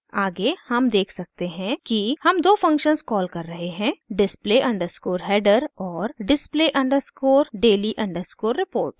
आगे हम देख सकते हैं कि हम दो फंक्शन्स कॉल कर रहे हैं